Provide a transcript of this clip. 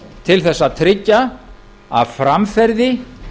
til þess að tryggja að framferði